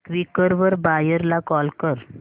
Quikr वर buyer ला call कर